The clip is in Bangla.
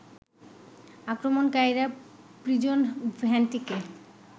আক্রমণকারীরা প্রিজন ভ্যানটিকে